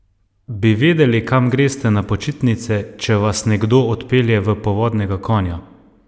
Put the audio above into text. Bi vedeli, kam greste na počitnice, če vas nekdo odpelje v povodnega konja?